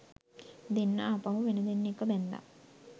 දෙන්නා ආපහු වෙන දෙන්නෙක්ව බැන්දා